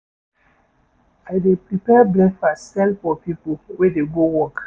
I dey prepare breakfast sell to pipo wey dey go work.